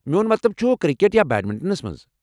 میون مطلب چھُ، کرکٹ ، یا بیڈمنٹنس منٛز۔